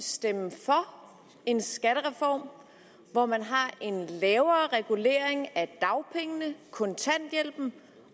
stemme for en skattereform hvor man har en lavere regulering af dagpengene kontanthjælpen